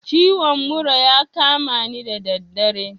Ciwon mura ya kamani da daddare